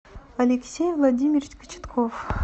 алексей владимирович кочетков